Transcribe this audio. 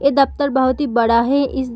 ये दफ्तर बहुत ही बड़ा है इस --